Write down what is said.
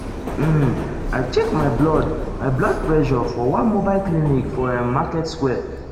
um i check my blood my blood pressure for one mobile clinic for ehm market square.